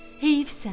Heyifsən.